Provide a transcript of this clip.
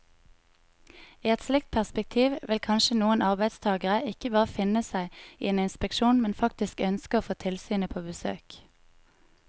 I et slikt perspektiv vil kanskje noen arbeidstagere ikke bare finne seg i en inspeksjon, men faktisk ønske å få tilsynet på besøk.